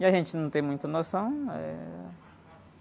E a gente não tem muita noção. Eh...